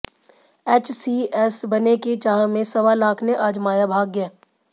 HCS बनने की चाह में सवा लाख ने आजमाया भाग्य